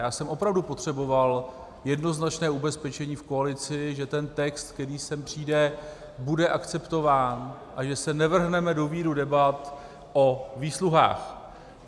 Já jsem opravdu potřeboval jednoznačné ubezpečení v koalici, že ten text, který sem přijde, bude akceptován a že se nevrhneme do víru debat o výsluhách.